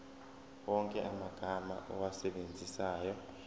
wonke amagama owasebenzisayo